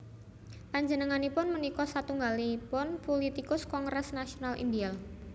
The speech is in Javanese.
Panjenenganipun punika satunggalipun pulitikus Kongres Nasional Indial